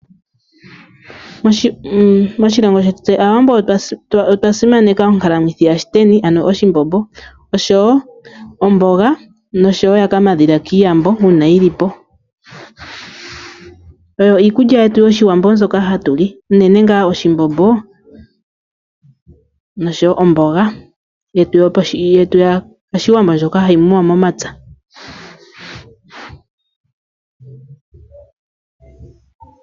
Moshilongo shetu tse aawambo otwa simaneka ongalamwithi ya shiteni ano oshimbombo ,oshowo omboga noshowo ya kamadhila ki iyambo uuna uuna yilipo . Oyo iikulya yetu yoshiwambo mbyoka hatuli unene ngaa oshimbombo oshowo omboga yetu yoshiwambo ndjoka hayi muwa momapya .